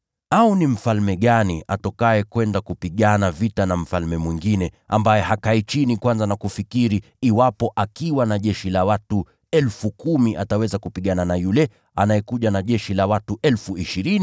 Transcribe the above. “Au ni mfalme gani atokaye kwenda kupigana vita na mfalme mwingine, ambaye hakai chini kwanza na kufikiri iwapo akiwa na jeshi la watu 10,000 ataweza kupigana na yule anayekuja na jeshi la watu 20,000?